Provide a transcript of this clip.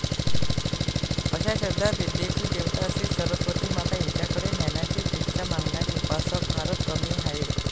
अशा शब्दात विद्येची देवता श्री सरस्वती माता हिच्याकडे ज्ञानाची भिक्षा मागणारे उपासक फारच कमी आहेत.